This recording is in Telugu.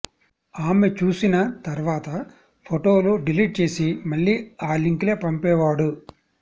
ఆమె చూసిన తర్వాత ఫొటోలు డిలీట్ చేసి మళ్లీ ఆ లింకులే పంపేవాడు